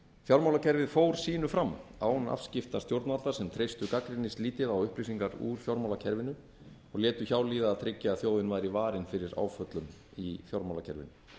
fjármálakerfið fór sínu fram án afskipta stjórnvalda sem treystu gagnrýnislítið á upplýsingar úr fjármálakerfinu og létu hjá líða að tryggja að þjóðin væri varin fyrir áföllum í fjármálakerfinu